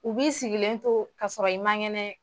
U b'i sigilen to kasɔrɔ i ma ŋɛnɛ